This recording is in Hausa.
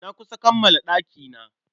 Na kusa kammala ɗakina.